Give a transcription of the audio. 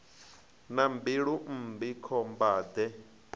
na mbilu mmbi khomba de